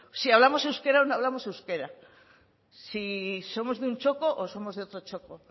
si hablamos euskera o no hablamos euskera si somos de un txoko o somos de otro txoko